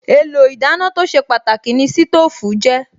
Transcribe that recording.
Èlò ìdáná tó ṣe pàtàkì ni sítóòfù jẹ́